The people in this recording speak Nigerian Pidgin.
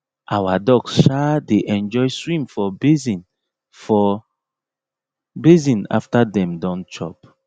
our ducks um dey enjoy swim for basin for basin after dem don chop